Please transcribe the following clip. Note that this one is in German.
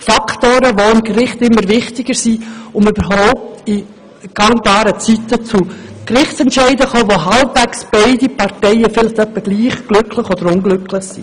Diese Faktoren werden vor Gericht immer wichtiger, um überhaupt in vertretbarer Zeit zu einem Gerichtsentscheid zu gelangen, der beide Parteien etwa gleich glücklich oder unglücklich macht.